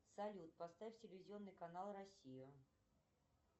салют поставь телевизионный канал россия